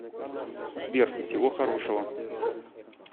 сбер всего хорошего